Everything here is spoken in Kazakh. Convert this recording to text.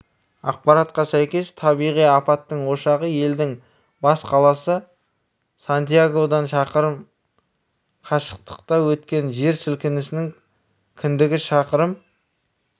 ақпаратқа сәйкес табиғи апаттың ошағы елдің бас қаласы сантьягодан шақырым қашықтықта өткен жер сілкінісінің кіндігі шақырым